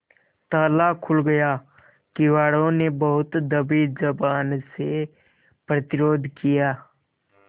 ताला खुल गया किवाड़ो ने बहुत दबी जबान से प्रतिरोध किया